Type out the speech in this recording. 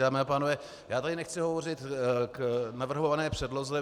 Dámy a pánové, já tady nechci hovořit k navrhované předloze.